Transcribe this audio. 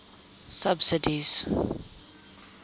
subsidies